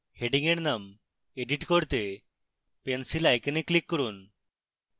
heading এর name edit করতে pencil icon click করুন